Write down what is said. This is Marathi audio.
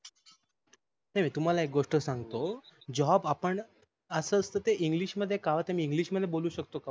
हे तुम्हाला एक गोष्ट सांगतो job ते अस असत ते english मध्ये का कावत आहे मी इंग्लिस मध्ये बोलू शकतो का हो